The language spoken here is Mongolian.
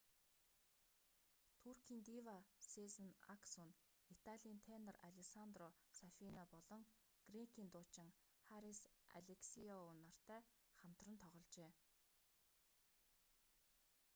туркийн дива сезен аксү нь италийн тенор алессандро сафина болон грекийн дуучин харис алексиоу нартай хамтран тогложээ